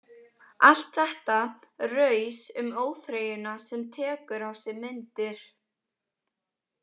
Allt þetta raus um óþreyjuna sem tekur á sig myndir.